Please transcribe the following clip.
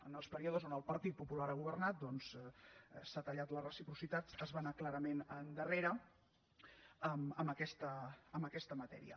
en els períodes on el partit popular ha governat doncs s’ha tallat la reciprocitat es va anar clarament endarrere en aquesta matèria